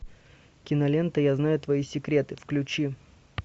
кинолента я знаю твои секреты включи